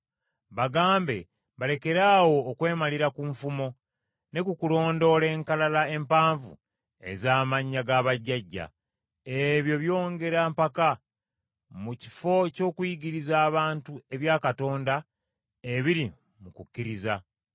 Bagambe balekeraawo okwemalira ku nfumo, ne ku kulondoola enkalala empanvu ez’amannya g’abajjajja. Ebyo byongera mpaka, mu kifo ky’okuyigiriza abantu ebya Katonda ebiri mu kukkiriza.